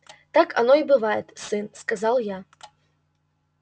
так оно и бывает сын сказал я